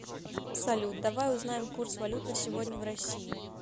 салют давай узнаем курс валют на сегодня в россии